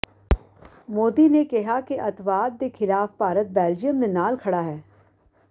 ਮੋਦੀ ਨੇ ਕਿਹਾ ਕਿ ਅੱਤਵਾਦ ਦੇ ਖਿਲਾਫ ਭਾਰਤ ਬੈਲਜੀਅਮ ਦੇ ਨਾਲ ਖੜ੍ਹਾ ਹੈ